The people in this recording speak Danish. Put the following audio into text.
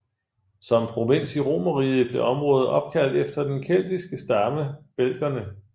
Som provins i Romerriget blev området opkaldt efter den keltiske stamme belgerne